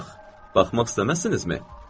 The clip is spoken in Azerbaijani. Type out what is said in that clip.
Baxmaq istəməzsinizmi?